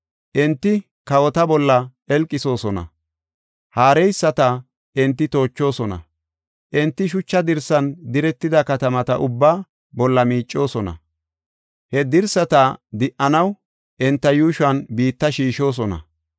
Enti kawota bolla qelqisoosona; haareyisata enti toochoosona. Enti shucha dirsan diretida katamata ubbaa bolla miicoosona. He dirsata di77anaw enta yuushuwan biitta shiishosona.